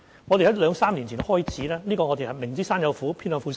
我們在兩三年前開始，"明知山有虎，偏向虎山行"。